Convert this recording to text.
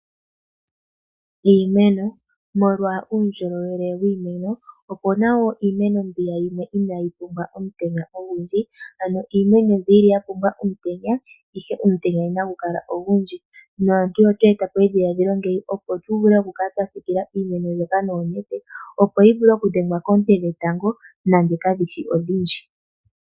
Iimeno Molwa uundjolowele wiimeno opu na mbyoka inaayi pumbwa omutenya ogundji .Iimeno ndjino oya pumbwa omutenya ihe kagushi ogundji. Aantu oya e ta po edhiladhilo lyoku yi siikila noonete opo yi vule okudhengwa koonte dhetango nande kadhishi odhindji.